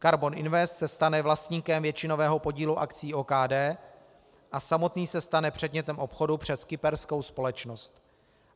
Karbon Invest se stane vlastníkem většinového podílu akcií OKD a samotný se stane předmětem obchodu přes kyperskou společnost.